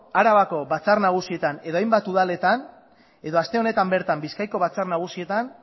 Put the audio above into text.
arabako batzar nagusietan eta hainbat udaletan edo aste honetan bertan bizkaiako batzar nagusietan